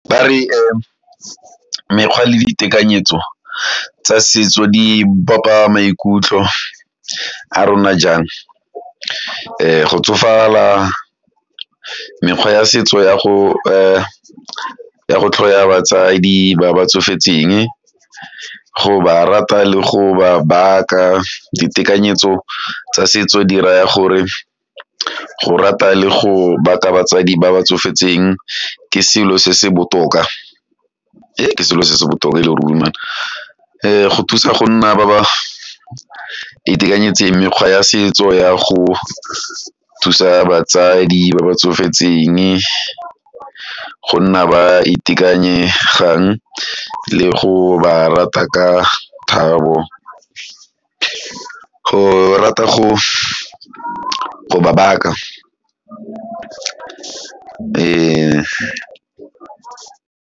re mekgwa le ditekanyetso tsa setso di bopa maikutlo a rona jang, go tsofala mekgwa ya setso ya go tlhoya batsadi ba ba tsofetseng, go ba rata le go ba baka ditekanyetso tsa setso di raya gore go rata le go baka batsadi ba ba tsofetseng ke selo se se botoka ee ke selo se se botoka e le ruri ee go thusa go nna ba ba itekanetseng mekgwa ya setso ya go thusa batsadi ba ba tsofetseng go nna ba itekanyegang le go ba rata ka thabo, go rata go go ba baka, ee.